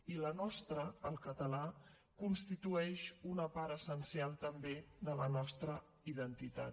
i la nostra el català constitueix una part essencial també de la nostra identitat